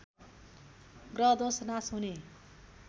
ग्रहदोष नाश हुने